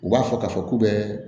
U b'a fɔ k'a fɔ k'u bɛ